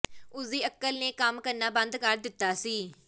ਉਸਦੀ ਅਕਲ ਨੇ ਕੰਮ ਕਰਨਾ ਬੰਦ ਕਰ ਦਿੱਤਾ ਸੀ